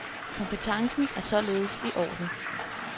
Kompetencen er således i orden.